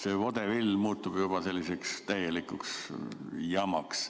See vodevill muutub juba selliseks täielikuks jamaks.